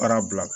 Baara bila